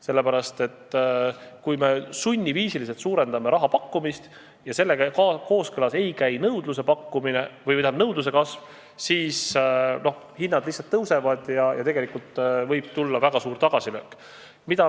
Sellepärast, et kui me sunniviisiliselt suurendame raha pakkumist ja sellega kooskõlas ei käi nõudluse kasv, siis hinnad lihtsalt tõusevad ja võib tulla väga suur tagasilöök.